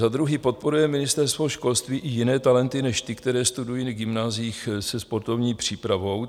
Za druhé, podporuje Ministerstvo školství i jiné talenty než ty, které studují na gymnáziích se sportovní přípravou?